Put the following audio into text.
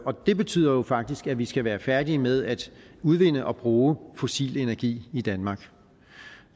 det betyder jo faktisk at vi skal være færdige med at udvinde og bruge fossil energi i danmark